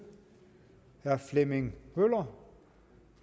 herre flemming møller